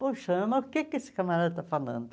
Poxa, mas por que que esse camarada está falando?